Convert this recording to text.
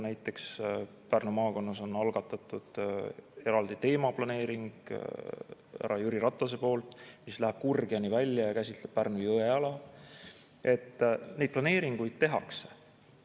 Näiteks Pärnu maakonnas on härra Jüri Ratase algatatud eraldi teemaplaneering, mis läheb Kurgjani välja ja käsitleb Pärnu jõe ala – neid planeeringuid tehakse.